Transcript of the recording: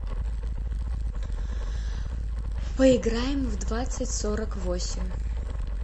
поиграем в двадцать сорок восемь